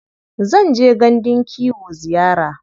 Zan je gandun kiwo ziyara.